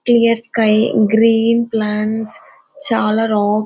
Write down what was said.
clear sky green plants చాలా rocks --